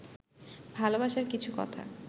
ভালবাসার কিছু কথা